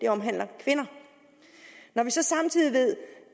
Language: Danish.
omhandler kvinder når vi så samtidig ved